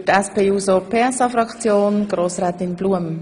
– Für die SPJUSO-PSA-Fraktion Grossrätin Blum.